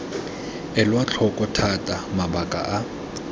elwa tlhoko thata mabaka a